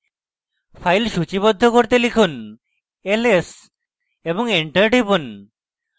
এখন files সূচীবদ্ধ করতে লিখুন ls এবং enter টিপুন